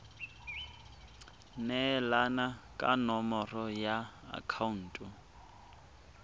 neelana ka nomoro ya akhaonto